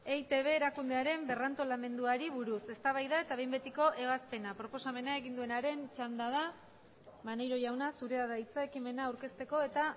eitb erakundearen berrantolamenduari buruz eztabaida eta behin betiko ebazpena proposamena egin duenaren txanda da maneiro jauna zurea da hitza ekimena aurkezteko eta